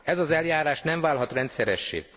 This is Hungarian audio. Ez az eljárás nem válhat rendszeressé.